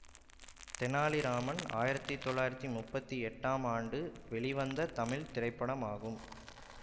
தெனாலி ராமன் ஆயிரத்தி தொள்ளாயிரத்தி முப்பத்தி எட்டாம் ஆண்டு வெளிவந்த தமிழ் திரைப்படமாகும்